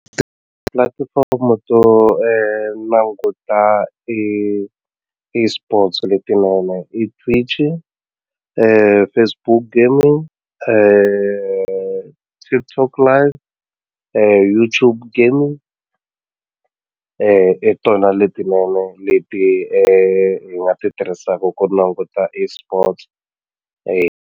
Pulatifomo to languta eSports leti n'wana i Facebook Gaming TikTok Lite YouTube Gaming i tona letinene leti hi nga ti tirhisaku ku languta eSports .